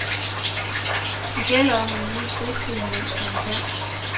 Det gælder om at nyde fritiden, mens man kan.